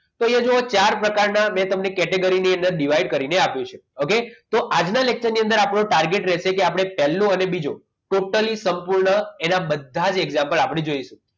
તો એ જો ચાર પ્રકારના મેં તમને category ની અંદર divide કરીને આપ્યું છે ઓકે તો આજના lecture ની અંદર આપણે target રહેશે કે આપણે પહેલો અને બીજો સંપૂર્ણ એના બધા જ example જોઈશું આપણે જોઇશું